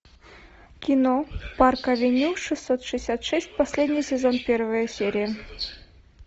кино парк авеню шестьсот шестьдесят шесть последний сезон первая серия